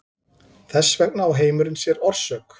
Þess vegna á heimurinn sér orsök.